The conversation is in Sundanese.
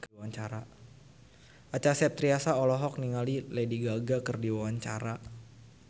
Acha Septriasa olohok ningali Lady Gaga keur diwawancara